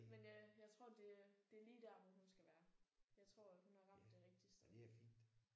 Men øh jeg tror det er det er lige der hvor hun skal være. Jeg tror hun har ramt det rigtige sted